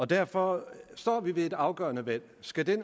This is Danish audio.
derfor står vi ved et afgørende valg skal den